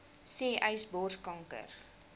sê uys borskanker